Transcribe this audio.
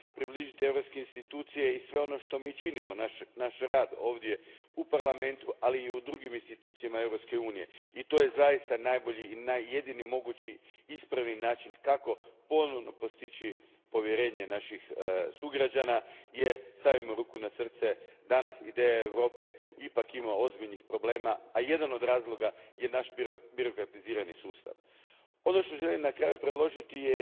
Približiti europske institucije i sve ono što mi činimo, naš rad ovdje u Parlamentu, ali i u drugim institucijama Europske unije i to je zaista najbolji i jedini mogući ispravni način kako ponovno postići povjerenje naših sugrađana jer, stavimo ruku na srce, danas ideja Europe ipak ima ozbiljnih problema, a jedan od razloga je naš birokratizirani sustav. Ono što želim na kraju predložiti je